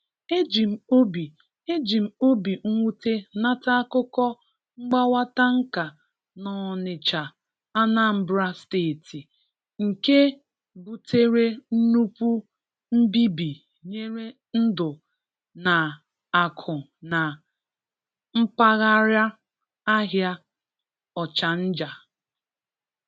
Eji m obi Eji m obi mwute nata akụkọ mgbawa tanka n'Ọnịcha, Anambra Steeti, nke butere nnukwu mbibi nyere ndụ na akụ na mpaghara ahịa Ọchanja.